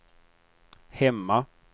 hemma